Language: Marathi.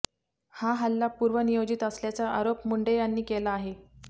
हा हल्ला पूर्व नियोजित असल्याचा आरोप मुंडे यांनी केला आहे